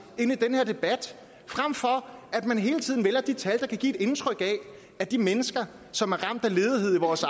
ind i den her debat frem for at man hele tiden vælger de tal der kan give et indtryk af at de mennesker som er ramt af ledighed i vores